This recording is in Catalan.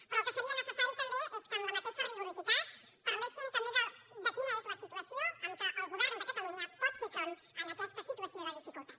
però el que seria necessari també és que amb el mateix rigor parléssim també de quina és la situació amb què el govern de catalunya pot fer front a aquesta situació de dificultat